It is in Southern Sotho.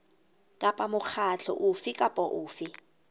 kapa mokgatlo ofe kapa ofe